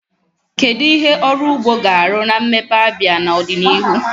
Kedu ihe ọrụ ugbo ga-arụ na mmepe Abia n'ọdịnihu?